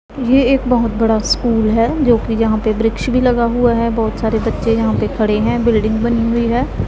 ये एक बहुत बड़ा स्कूल है जो कि यहां पे वृक्ष भी लगा हुआ है बहुत सारे बच्चे यहां पे खड़े हैं बिल्डिंग बनी हुई है।